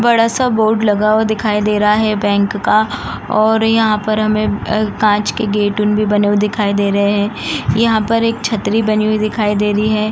बड़ा-सा बोर्ड लगा हुआ दिखाई दे रहा है बैंक का और यहाँ पर हमें कांच के गेट भी बने हुए दिखाई दे रहे हैं। यहाँ पर एक छतरी बनी हुई दिखाई दे रही है।